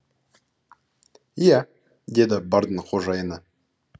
иә деді бардың қожайыны